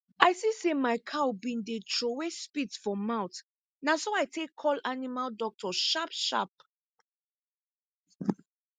i see say my cow been dey trowey spit for mouth na so i take call animal doctor sharp sharp